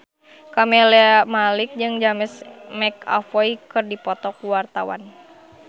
Camelia Malik jeung James McAvoy keur dipoto ku wartawan